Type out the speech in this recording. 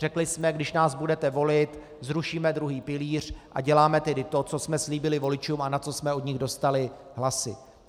Řekli jsme: když nás budete volit, zrušíme druhý pilíř, a děláme tedy to, co jsme slíbili voličům a na co jsme od nich dostali hlasy.